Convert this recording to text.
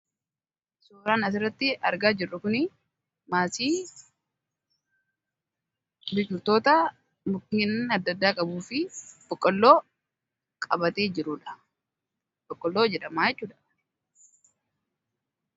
Suuraan asirratti argaa jirru kuni maasii biqiltoota mukeen adda addaa qabu fi boqqoolloo qabatee jirudha. Boqqoolloo jedhamaa jechuudha